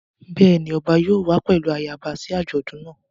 Bẹ́ẹ̀ ni ọba yóò wá pẹ̀lú ayaba sí àjọ̀dún náà.